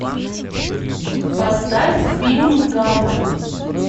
поставь фильм гавр